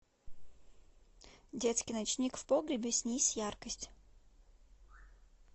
детский ночник в погребе снизь яркость